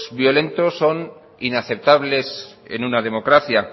violentos son inaceptables en una democracia